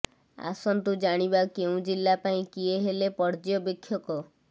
ଆସନ୍ତୁ ଜାଣିବା କେଉଁ ଜିଲ୍ଲା ପାଇଁ କିଏ ହେଲେ ପର୍ଯ୍ୟବେକ୍ଷକ